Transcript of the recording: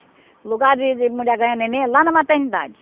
O lugar de de mulher ganhar neném é lá na maternidade.